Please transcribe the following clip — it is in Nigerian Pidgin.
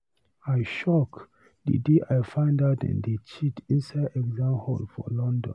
I shock the day I find out dem dey cheat inside exam hall for London.